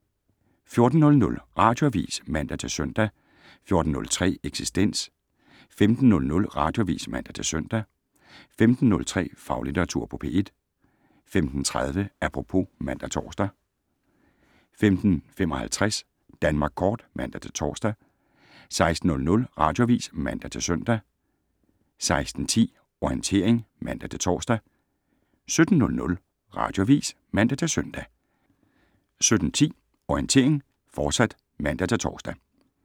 14:00: Radioavis (man-søn) 14:03: Eksistens 15:00: Radioavis (man-søn) 15:03: Faglitteratur på P1 15:30: Apropos (man-tor) 15:55: Danmark Kort (man-tor) 16:00: Radioavis (man-søn) 16:10: Orientering (man-tor) 17:00: Radioavis (man-søn) 17:10: Orientering, fortsat (man-tor)